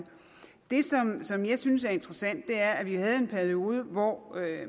som jeg synes er interessant er at vi havde en periode hvor